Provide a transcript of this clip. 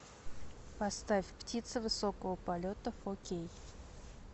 поставь птица высокого полета фо кей